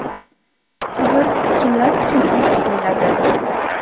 Qabr kimlar uchun olib qo‘yiladi?